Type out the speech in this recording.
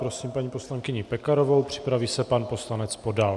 Prosím paní poslankyni Pekarovou, připraví se pan poslanec Podal.